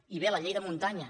i bé la llei de muntanya